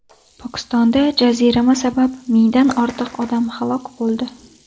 Pokistonda jazirama sabab mingdan ortiq odam halok bo‘ldi.